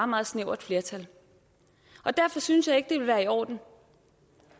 meget snævert flertal derfor synes jeg ikke ville være i orden